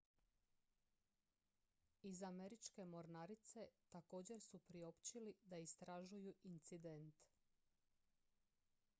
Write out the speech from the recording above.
iz američke mornarice također su priopćili da istražuju incident